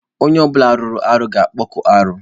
Onye ọ bụla mere arụ ga-akpụ arụ.